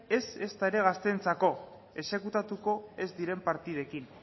ez eta ere gazteentzako exekutatuko ez diren partidekin